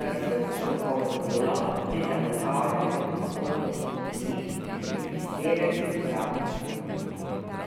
za visoko strokovno delo pri zagotavljanju dostopnosti knjig in prispevek k bralni kulturi.